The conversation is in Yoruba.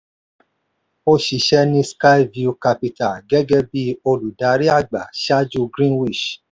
ó ṣiṣẹ́ ní skyview capital gẹ́gẹ́ bí olùdarí àgbà ṣáájú greenwich